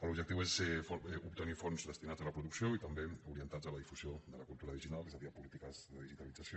l’objectiu és obtenir fons destinats a la producció i també orientats a la difusió de la cultura digital és a dir a polítiques de digitalització